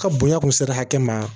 Ka bonya kun sera hakɛ ma